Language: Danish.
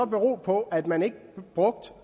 bero på at man ikke brugte